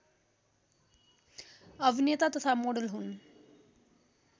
अभिनेता तथा मोडल हुन्